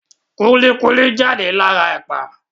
Kúlí kúlí jáde lára Ẹ̀pà